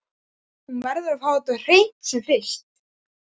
Hún verður að fá þetta á hreint sem fyrst.